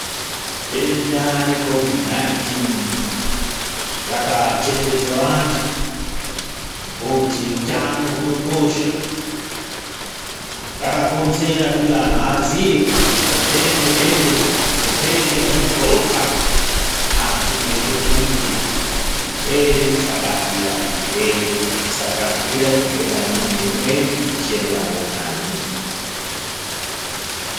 Denda reCovid 19 rakacheNjedza vantu kuti utano hunokosha rakakonzera kuti antu aziye mupfeke hembe mupfeke kudxoka hanzvu dzinoite kuti chirwere chisabatira chirwere chisatapukira kubve pane munhu umwe chichiende pane unani.